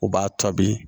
U b'a to bi